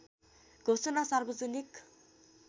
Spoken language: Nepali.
घोषणा सार्वजनिक